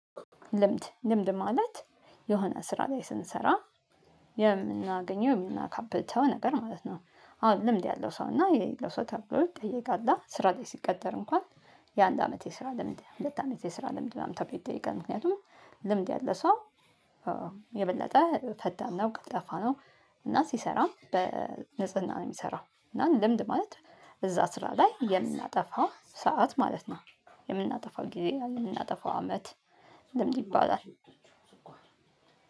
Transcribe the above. ልምድ ልምድ ማለት የሆነ ስራ ላይ ስንሰራ የምናገኘው የምናካብተው ነገር ማለት ነው። አሁን ልምድ ያለው ሰው እና የሌለው ሰው ተብሎ ይጠየቃል አ ስራ ላይ ሲቀጠር እንኳን የአንድ አመት የስራ ልምድ ሁለት አመት የስራ ልምድ ምናምን ተብሎ ይጠየቃል። ምክንያቱም ልምድ ያለ ሰው የበለጠ ፈጣን ነው ቀልጣፋ ነው። እና ሲሰራም በንጽህና ነው ሚሰራው እና ልምድ ማለት እዛ ስራ ላይ የምናጠፋው ሰዓት ማለት ነው። የምናጠፋው ጊዜ የምናጠፋው አመት ልምድ ይባላል።